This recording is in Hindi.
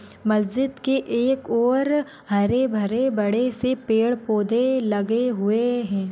मज्जीद के एक और अह हरे भरे बड़े से पेड़ पौधे लगे हुए है।